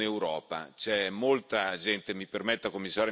a sostenere il costo della non Europa.